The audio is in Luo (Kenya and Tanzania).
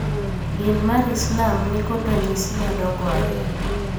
Din mar Islam nikod ranyisi madongo ariyo.